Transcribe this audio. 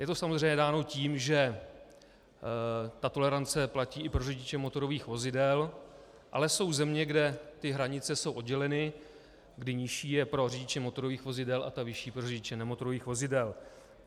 Je to samozřejmě dáno tím, že ta tolerance platí i pro řidiče motorových vozidel, ale jsou země, kde ty hranice jsou odděleny, kdy nižší je pro řidiče motorových vozidel a ta vyšší pro řidiče nemotorových vozidel.